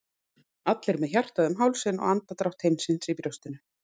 allir með hjartað um hálsinn og andardrátt heimsins í brjóstinu.